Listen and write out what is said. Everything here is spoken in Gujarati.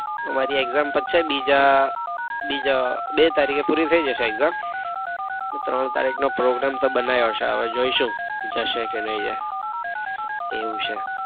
અમારી exam પતશે બીજા બીજા બે તારીખે પુરી થઇ જશે exam એટલે ત્રણ તારીખ નો program તો બનાયો છે હવે જોઈશું જશે કે નઈ જાય એવું છે.